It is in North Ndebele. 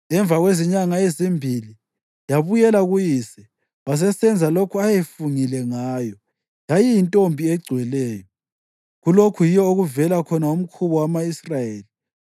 Emva kwezinyanga ezimbili yabuyela kuyise wasesenza lokho ayekufungile ngayo. Yayiyintombi egcweleyo. Kulokhu yikho okuvela khona umkhuba wama-Israyeli